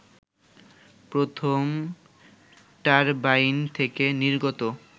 প্রথম টারবাইন থেকে নির্গত